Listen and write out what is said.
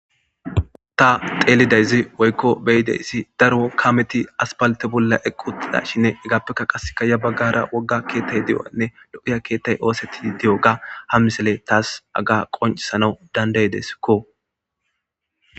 Ta teelidayzi woykko beyideyssi daro kameti asbalte bolla eqqu uttida shinne igaappeka qaseka ya baggara wogga keettay deo'nne lo'iya keettay oosetti di'o ga ham misele taas aga qoncisana danday deskko.